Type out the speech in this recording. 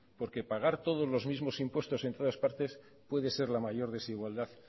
porque pagar todos los mismos impuestos en todas partes puede ser la mayor desigualdad